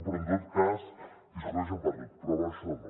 però en tot cas discuteixen per tot però per això no